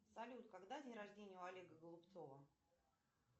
салют когда день рождения у олега голубцова